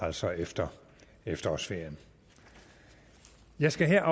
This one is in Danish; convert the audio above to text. altså efter efterårsferien jeg skal her